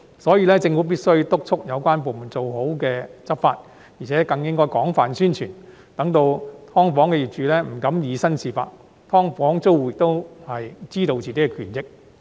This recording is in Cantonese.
所以，政府必須督促有關部門做好執法工作，而且更應廣泛宣傳，讓"劏房"業主不敢以身試法，"劏房"租戶亦可知道自己的權益。